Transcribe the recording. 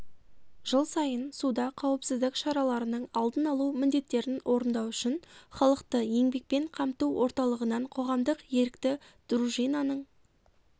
жыл сайын суда қауіпсіздік шараларының алдын алу міндеттерін орындау үшін халықты еңбекпен қамту орталығынан қоғамдық-ерікті дружинаның